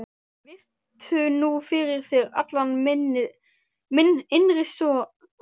Virtu nú fyrir þér allan minn innri sora.